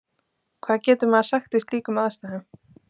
Hvað getur maður sagt í slíkum aðstæðum?